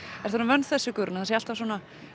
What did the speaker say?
ertu orðin vön þessu Guðrún að það sé alltaf svona